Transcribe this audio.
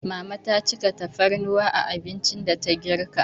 Mama ta cika tafarnuwa a abincin da ta girka.